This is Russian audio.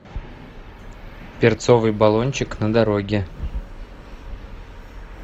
перцовый балончик на дороге